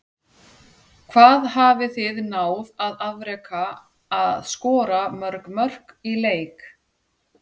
Hvað hafið þið náð að afreka að skora mörg mörk í leik?